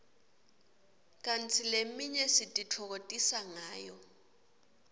kanti leminye sititfokotisa ngayo